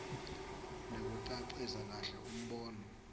nekucacisa kahle umbono